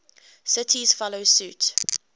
cities follow suit